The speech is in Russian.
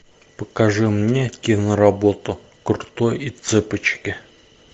покажи мне киноработу крутой и цыпочки